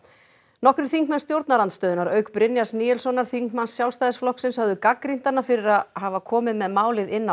nokkrir þingmenn stjórnarandstöðunnar auk Brynjars Níelssonar þingmanns Sjálfstæðisflokksins höfðu gagnrýnt hana fyrir að hafa komið með málið inn á